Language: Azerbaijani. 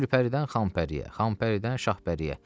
Gülpəridən Xanpəriyə, Xanpəridən Şahpəriyə.